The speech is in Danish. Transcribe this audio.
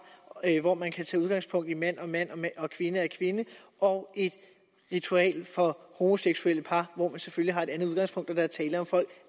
hvor man kan tage udgangspunkt i at mand er mand og kvinde er kvinde og et ritual for homoseksuelle par hvor man selvfølgelig har et andet udgangspunkt og der er tale om folk